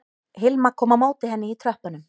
Hilma kom á móti henni í tröppunum